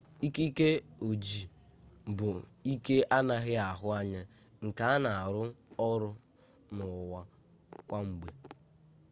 ikike ojii bụ ike anaghị ahụ anya nke na-arụ ọrụ n'ụwa kwa mgbe